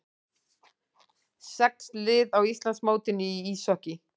Sex lið á Íslandsmótinu í íshokkíi